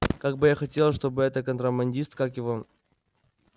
как бы я хотела чтобы это контрабандист как его